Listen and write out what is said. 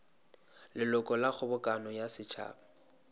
leloko la kgobokano ya setšhaba